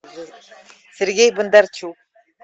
сергей бондарчук